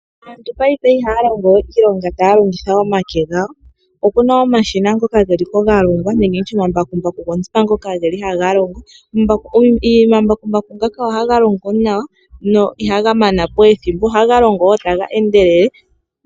Aantu paife ihaya longo we iilonga taya longitha omake gawo. Opuna omashina ngoka geli po ga longwa nenge nditye omambakumbaku ngoka geli haga longo. Omambakumbaku ngaka ohaga longo nawa no ihaga mana po ethimbo. Ohaga longo wo taga endelele.